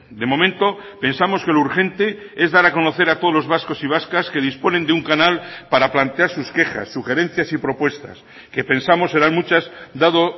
de momento pensamos que lo urgente es dar a conocer a todos los vascos y vascas que disponen de un canal para plantear sus quejas sugerencias y propuestas que pensamos serán muchas dado